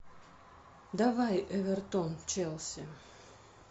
давай эвертон челси